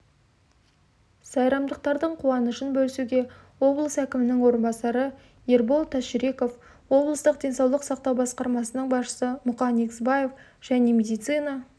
сайрамдықтардың қуанышын бөлісуге облыс әкімініңорынбасары ербол тасжүреков облыстық денсаулық сақтау басқармасының басшысы мұқан егізбаев және медицина